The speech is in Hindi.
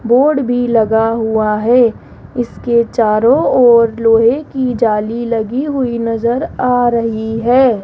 बोर्ड भी लगा हुआ है इसके चारों ओर लोहे की जाली लगी हुई नजर आ रही है।